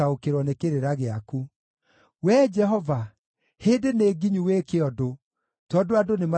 Wee Jehova, hĩndĩ nĩnginyu wĩke ũndũ, tondũ andũ nĩmathũkĩtie watho waku.